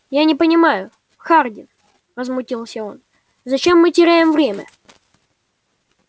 я не понимаю хардин возмутился он зачем мы теряем время